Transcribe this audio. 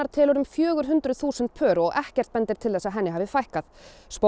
telur um fjögur hundruð þúsund pör og ekkert bendir til að henni hafi fækkað